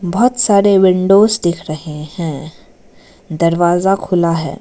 बहुत सारे विंडोज दिख रहे हैं दरवाजा खुला है।